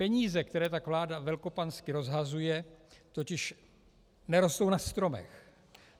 Peníze, které tak vláda velkopansky rozhazuje, totiž nerostou na stromech.